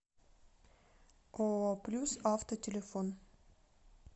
ооо плюс авто телефон